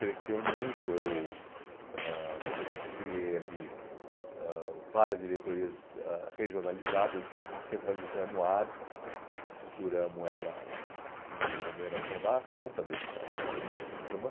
Cresceu muito, eu ãh criei ali ãh várias diretorias ãh regionalizadas, descentra descentralizamos a, estruturamos ela assim de maneira para dar conta dessa dimensão do problema.